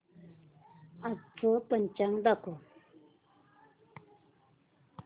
आजचं पंचांग दाखव